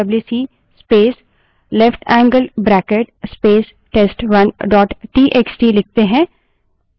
अब यदि हम W C space left handed bracket space test1 dot T X T wc space leftangled bracket space test1 dot txt लिखते हैं